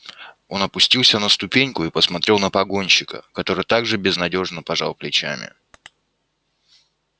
он опустился на ступеньку и посмотрел на погонщика который так же безнадёжно пожал плечами